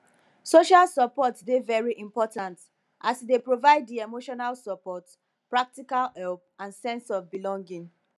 social support dey very important as e dey provide di emotional support practical help and sense of belonging